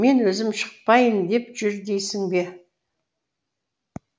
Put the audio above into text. мен өзім шықпайын деп жүр дейсің бе